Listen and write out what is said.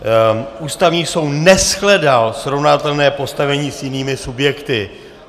Ústavní soud neshledal srovnatelné postavení s jinými subjekty.